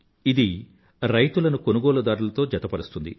ఇది రైతులను కొనుగోలుదారులతో జతపరుస్తుంది